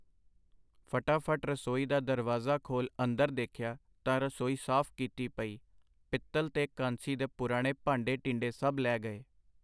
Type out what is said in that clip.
ਫਟਾਫਟ ਰਸੋਈ ਦਾ ਦਰਵਾਜ਼ਾ ਖੋਲ ਅੰਦਰ ਦੇਖਿਆ ਤਾਂ ਰਸੋਈ ਸਾਫ ਕੀਤੀ ਪਈ, ਪਿੱਤਲ ਤੇ ਕਾਂਸੀ ਦੇ ਪੁਰਾਣੇ ਭਾਂਡੇ ਟੀਂਡੇ ਸਭ ਲੈ ਗਏ .